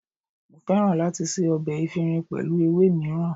Mo fẹ́ràn láti ṣe ọbẹ̀ efinrin pẹ̀lú ewé mìíràn.